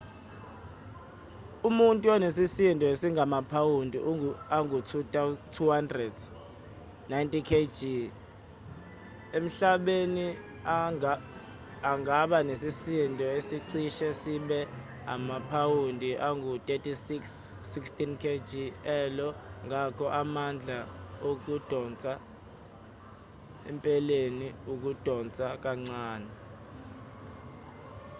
umuntu onesisindo esingamaphawundi angu-200 90kg emhlabeni angaba nesisindo esicishe sibe amaphawundi angu-36 16kg e-io. ngakho amandla okudonsa empeleni akudonsa kancane